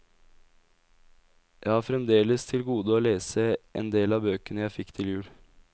Jeg har fremdeles til gode å lese en del av bøkene jeg fikk til jul.